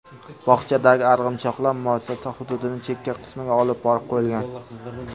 Bog‘chadagi arg‘imchoqlar muassasa hududining chekka qismiga olib borib qo‘yilgan.